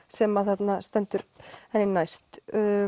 sem að þarna stendur henni næst